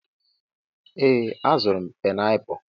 Ee, azụrụ m painiapulu.